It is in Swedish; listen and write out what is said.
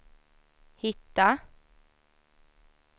hitta